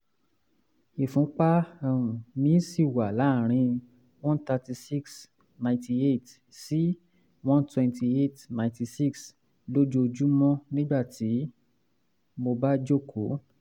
ìfúnpá um mi ṣì wà láàárín one thirty six ninety eight sí one twenty eight ninety six lójoojúmọ́ nígbà tí mo bá jókòó